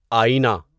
آٮٔینہ